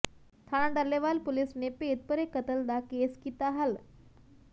ਥਾਣਾ ਟੱਲੇਵਾਲ ਪੁਲਿਸ ਨੇ ਭੇਦਭਰੇ ਕਤਲ ਦਾ ਕੇਸ ਕੀਤਾ ਹੱਲ